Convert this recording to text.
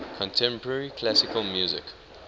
contemporary classical music